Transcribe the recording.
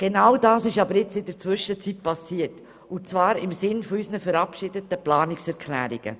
Genau dies ist in der Zwischenzeit auch geschehen, und zwar im Sinne unserer verabschiedeten Planungserklärungen.